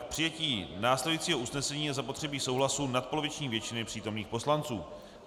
K přijetí následujícího usnesení je zapotřebí souhlasu nadpoloviční většiny přítomných poslanců.